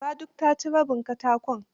Gara duk ta ciny rabin katakon.